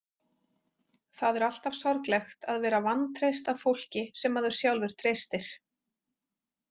Það er alltaf sorglegt að vera vantreyst af fólki sem maður sjálfur treystir.